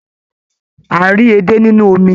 A ń rí edé nínú omi.